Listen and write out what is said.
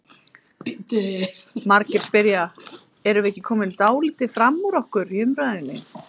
Margir spyrja: Erum við ekki komin dálítið fram úr okkur í umræðunni?